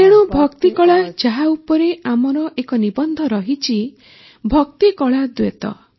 ତେଣୁ ଭକ୍ତି କଳା ଯାହା ଉପରେ ଆମର ଏକ ନିବନ୍ଧ ରହିଛି ଭକ୍ତି କଳା ଦ୍ୟୋତ